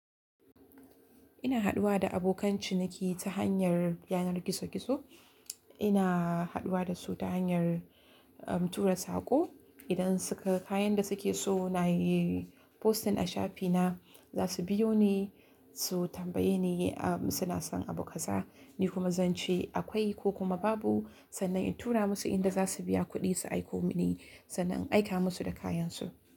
Ina haɗuwa da abokan ciniki ta hanyar yanar gizo-gizo. Ina haɗuwa da su ta hanyar, um, tura sako. Idan suka ga kayan da suke so na yi posting a shafi na, za su biyo ni su tambaye ni, um, suna son abu kasa. Ni kuma zan ce akwai ko kuma babu. Sannan in tura musu inda za su biya kuɗi su aiko mini sannan in aika musu da kayansu.